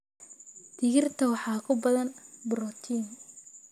Digirta waxaa ku badan borotiin.